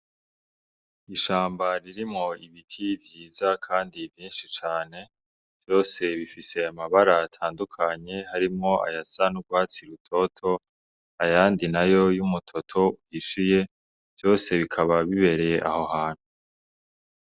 Ishambaririmwo ibiti vyiza, kandi vyinshi cane vyose bifise amabara atandukanye harimwo ayasan'urwatsi rutoto ayandi na yo y'umutoto yishiye vyose bikaba bibereye aho hantu.